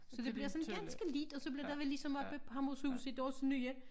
Så det bliver sådan ganske lidt og så bliver det vel ligesom oppe på Hammershus i deres nye